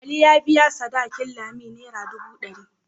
Ali ya biya sadakin Lami naira dubu dari.